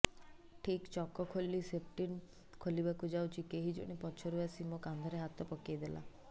ଠିକ୍ ଚକ ଖୋଲି ସ୍ଟେପନୀ ଖୋଲିବାକୁ ଯାଉଛି କେହିଜଣେ ପଛରୁ ଆସି ମୋ କାନ୍ଧରେ ହାତ ପକେଇଲା